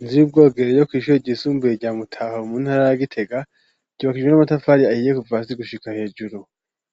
Inzu y'ubwogere yo kw'ishure ryisumbuye rya Mutaho mu ntara ya Gitega, ryubakijwe n'amatafari ahiye kuva hasi gushika hejuru.